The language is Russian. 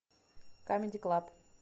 камеди клаб